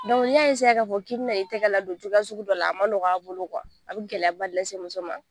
Dɔnku n'i y'a k'a fɔ k'i bɛ na i tɛgɛ la don cogoya sugu dɔ la, a ma nɔg'a bolo kuwa, a bɛ gɛlɛyaba de se muso ma.